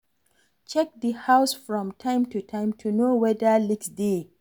Check di house from time to time to know weda leaks dey